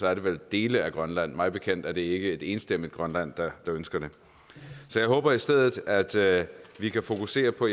er det vel dele af grønland mig bekendt er det ikke et enstemmigt grønland der ønsker det så jeg håber i stedet at vi kan fokusere på